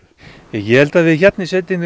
ég held að við hérna í sveitinni